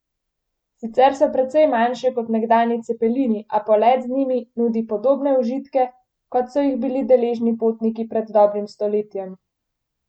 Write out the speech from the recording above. Sicer so precej manjše kot nekdanji cepelini, a polet z njimi nudi podobne užitke, kot so jih bili deležni potniki pred dobrim stoletjem!